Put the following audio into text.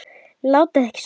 Látið ekki svona.